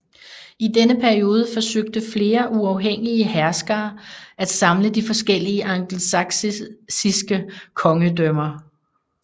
I denne periode forsøgte flere uafhængige herskere at samle de forskellige angelsaksiske kongedømmer